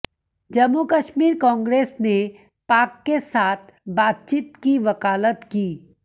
जम्मू कश्मीर कांग्रेस ने पाक के साथ बातचीत की वकालत की